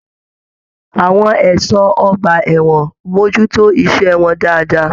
Àwọn ẹṣọ ọgbà ẹwọn mojútó iṣẹ wọn dáadáa.